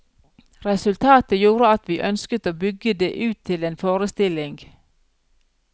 Resultatet gjorde at vi ønsket å bygge det ut til en forestilling.